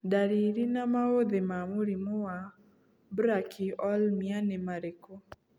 Ndariri na maũthĩ ma mũrimũ wa Brachyolmia nĩ marĩkũ